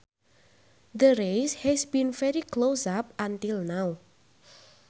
The race has been very close up until now